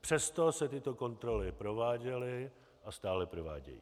Přesto se tyto kontroly prováděly a stále provádějí.